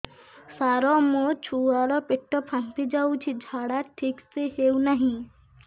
ସାର ମୋ ଛୁଆ ର ପେଟ ଫାମ୍ପି ଯାଉଛି ଝାଡା ଠିକ ସେ ହେଉନାହିଁ